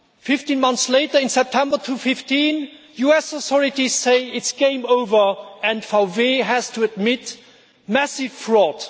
Fifteen months later in September 2015 US authorities say It's game over' and VW has to admit massive fraud.